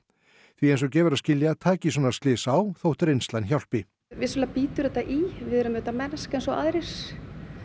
því eins og gefur að skilja taki svona slys á þótt reynslan hjálpi vissulega bítur þetta í við erum auðvitað mennsk eins og aðrir